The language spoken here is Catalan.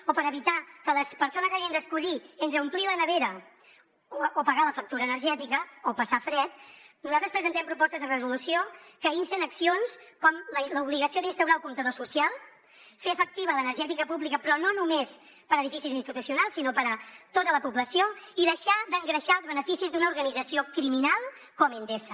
o per evitar que les persones hagin d’escollir entre omplir la nevera o pagar la factura energètica o passar fred nosaltres presentem propostes de resolució que insten accions com l’obligació d’instaurar el comptador social fer efectiva l’energètica pública però no només per a edificis institucionals sinó per a tota la població i deixar d’engreixar els beneficis d’una organització criminal com endesa